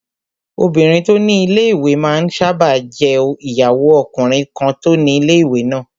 Obìnrin tó ni ilé-ìwé máa n sáábà jẹ́ ìyàwó ọkùnrin kan tó ni ilé-ìwé náà